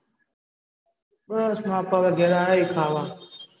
બસ માર પપ્પા ઘેર આયા હિ ખાવાં.